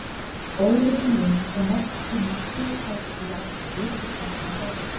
Óvissan um að fá nokkurn tíma slíkt tækifæri aftur liggur þarna að baki.